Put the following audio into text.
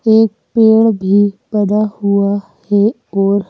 एक पेड़ भी लगा हुआ है और--